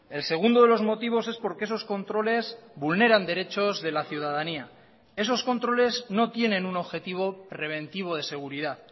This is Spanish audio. el segundo de los motivos es porque esos controles vulneran derechos de la ciudadanía esos controles no tienen un objetivo preventivo de seguridad